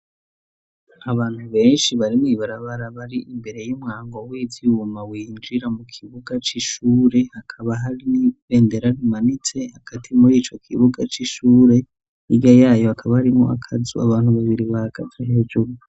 Abantu benshi barimwo ibarabarabari imbere y'umwango wizuma winjira mu kibuga c'ishure hakaba hari n'ibendera rimanitse agati muri ico kibuga c'ishure irya yayo hakaba arimwo akazu abantu babiri ba gaze hejuru.